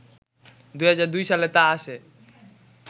২০০২ সালে তা এসে